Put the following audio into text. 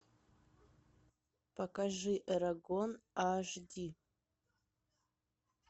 покажи эрагон аш ди